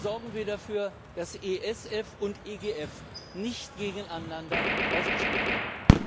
Sorgen wir dafür, dass ESF und EGF nicht gegeneinander ausgespielt werden!